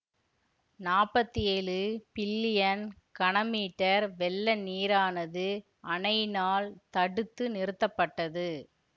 நாப்பத்தி ஏழு பில்லியன் கன மீட்டர் வெள்ள நீரானது அணையினால் தடுத்து நிறுத்தப்பட்டது